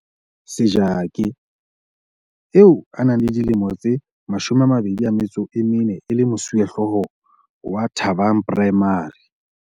Sejake, eo a nang le dilemo tse 24 e le mosuwehlooho wa Thabang Primary.